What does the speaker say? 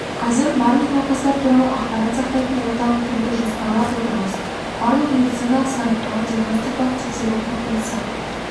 қазір барлық науқастар туралы ақпарат сақтайтын орталық құруды жоспарлап отырмыз барлық медициналық сараптама диагностикалық тексеру қорытындысы